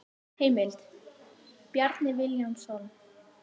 Heimild: Bjarni Vilhjálmsson.